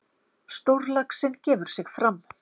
Stórlaxinn gefur sig fram.